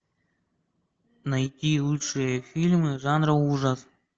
найти лучшие фильмы жанра ужас